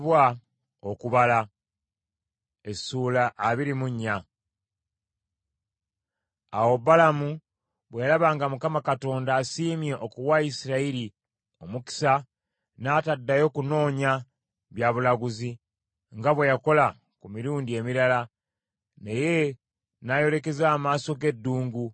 Awo Balamu bwe yalaba nga Mukama Katonda asiimye okuwa Isirayiri omukisa, n’ataddayo kunoonya bya bulaguzi, nga bwe yakola ku mirundi emirala, naye n’ayolekeza amaaso ge eddungu.